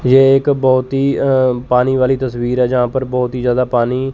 ये एक बहुत ही अह पानी वाली तस्वीर है जहां पर बहुत ही ज्यादा पानी--